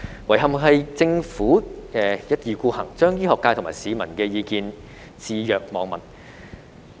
遺憾的是政府一意孤行，將醫學界和市民的意見置若罔聞。